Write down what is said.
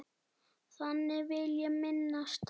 Þannig vil ég minnast hans.